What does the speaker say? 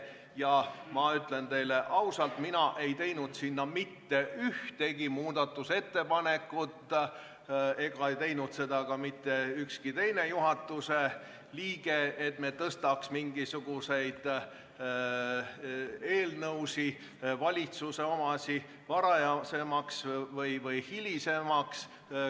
Ja ma ütlen teile ausalt, et mina ei teinud mitte ühtegi muudatusettepanekut ja ei teinud ka mitte ükski teine juhatuse liige selle kohta, et tõstaks mingisuguseid eelnõusid, valitsuse omasid, varajasemaks või hilisemaks.